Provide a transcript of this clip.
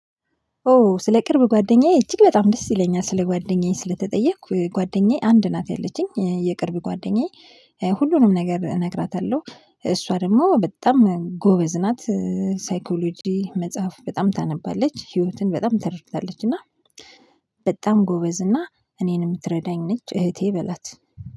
ኦ ስለ ቅርብ ጓደኛዬ እጅግ በጣም ደስ ይለኛል ስለ ጓደኛዬ ስለተጠየቅኩ ጓደኛዬ አንድ ናት ያለችኝ የቅርብ ጓደኛዬ ሁሉንም ነገር እነግራታለሁ፤ እሷ ደግሞ በጣም ጎበዝ ናት። ሳይኮሎጅ መጽሐፍ በጣም ታነባለች፤ ህይወትን በጣም ተረድታለች እና በጣም ጎበዝ እና እኔን የምትረዳኝ ነች። እህቴ በላት